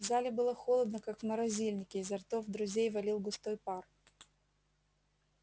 в зале было холодно как в морозильнике изо ртов друзей валил густой пар